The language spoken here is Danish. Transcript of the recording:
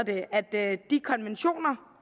at de konventioner